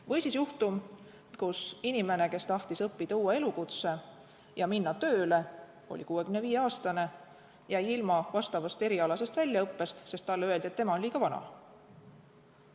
Või siis juhtum, kui inimene, kes tahtis õppida uue elukutse ja minna tööle, oli 65-aastane, jäi ilma erialasest väljaõppest, sest talle öeldi, et ta on liiga vana.